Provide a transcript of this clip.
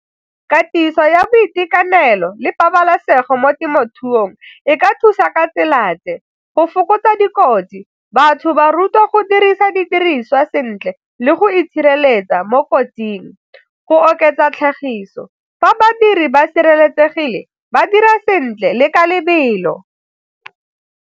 Katiso ya boitekanelo le pabalesego mo temothuong e ka thusa ka tsela tse, go fokotsa dikotsi batho ba rutiwa go dirisa didiriswa sentle le go itshireletsa mo kotsing go oketsa tlhagiso fa badiri ba sireletsegile ba dira sentle le ka lebelo.